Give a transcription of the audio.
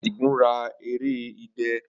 Adigun ra ere idẹ.